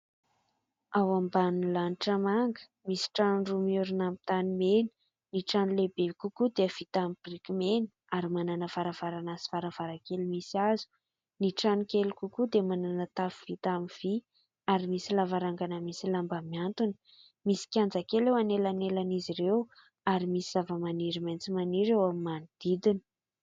Ao ambany lanitra manga, misy trano roa miorina amin'ny tanimena. Ny trano lehibe kokoa dia vita amin'ny biriky mena ary manana varavarana sy varavarankely misy hazo. Ny trano kely kokoa dia manana tafo vita amin'ny vy ary misy lavarangana misy lamba miantona. Misy kianja kely eo anelanelan'izy ireo ary misy zava-maniry maitso maniry eo amin'ny manodidina.